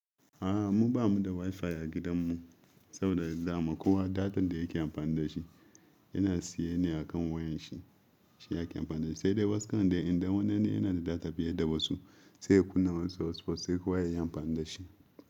A'a, mu bamu da wifi a gidanmu saboda za mu kowa data da yake amfani da shi yana siyan ne akan wayar shi, shi yake amfani da shi. Sai dai wasu karan dai idan wani ne yana da data fiye da wasu sai kunne wasu hotspot sai kowa ya yi amfani da shi.